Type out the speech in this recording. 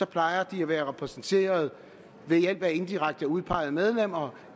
plejer de at være repræsenteret ved hjælp af indirekte udpegede medlemmer